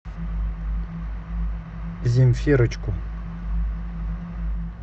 земфирочку